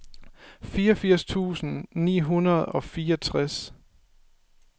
femogfirs tusind ni hundrede og fireogtres